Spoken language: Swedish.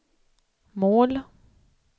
mål